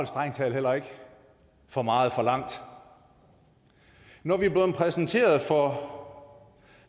strengt taget heller ikke for meget forlangt når vi er blevet præsenteret for